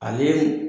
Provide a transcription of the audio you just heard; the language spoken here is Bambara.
Ani